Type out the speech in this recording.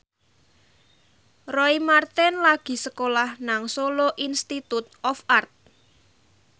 Roy Marten lagi sekolah nang Solo Institute of Art